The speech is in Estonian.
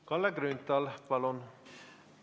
Kalle Grünthal, palun!